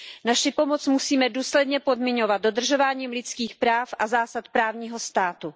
Naši pomoc musíme důsledně podmiňovat dodržováním lidských práv a zásad právního státu.